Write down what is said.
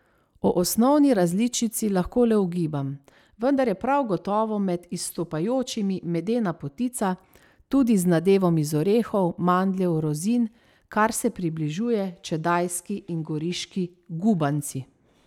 O osnovni različici lahko le ugibam, vendar je prav gotovo med izstopajočimi medena potica, tudi z nadevom iz orehov, mandljev, rozin, kar se približuje čedajski in goriški gubanci.